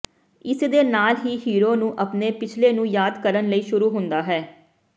ਇਸ ਦੇ ਨਾਲ ਹੀ ਹੀਰੋ ਨੂੰ ਆਪਣੇ ਪਿਛਲੇ ਨੂੰ ਯਾਦ ਕਰਨ ਲਈ ਸ਼ੁਰੂ ਹੁੰਦਾ ਹੈ